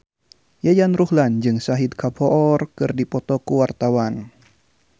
Yayan Ruhlan jeung Shahid Kapoor keur dipoto ku wartawan